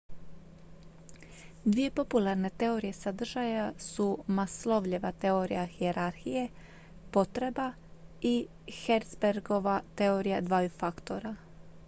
dvije popularne teorije sadržaja su maslowljeva teorija hijerarhije potreba i herzbergova teorija dvaju faktora